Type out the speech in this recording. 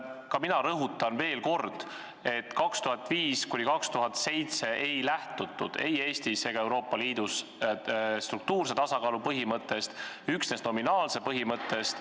Ka mina rõhutan veel kord, et aastail 2005–2007 ei lähtutud ei Eestis ega Euroopa Liidus struktuurse tasakaalu põhimõttest, üksnes nominaalse tasakaalu põhimõttest.